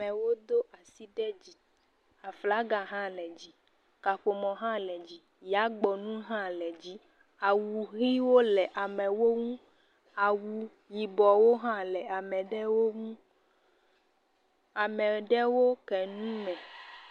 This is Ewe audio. Amewo do asi ɖe dzi. Aflaga hã le dzi. Kaƒomɔ hã le dzi. Yagbɔnu hã le dzi. Awu ʋiwo le amewo ŋu. Awu yibɔwo hã le ame aɖewo ŋu. Ame aɖewo ke nu me.